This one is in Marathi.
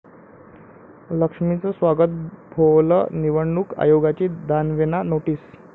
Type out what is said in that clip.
लक्ष्मीचं स्वागत' भोवलं, निवडणूक आयोगाची दानवेंना नोटीस